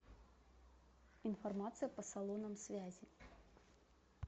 информация по салонам связи